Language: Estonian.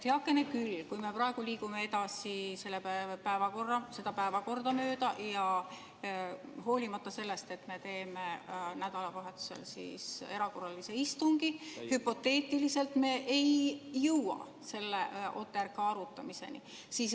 Heakene küll, kui me praegu liigume edasi seda päevakorda mööda, hoolimata sellest, et me teeme nädalavahetusel erakorralise istungi, siis hüpoteetiliselt me ei jõua OTRK arutamiseni.